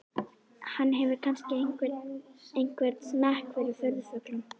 Hann hefur kannski einhvern smekk fyrir furðufuglum.